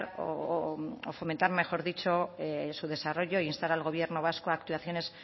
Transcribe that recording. o fomentar mejor dicho su desarrollo e instar al gobierno vasco actuaciones